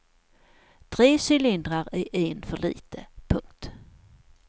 Tre cylindrar är en för lite. punkt